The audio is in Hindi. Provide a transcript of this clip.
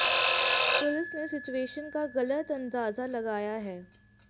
पुलिस ने सिचुएशन का गलत अंदाजा लगाया है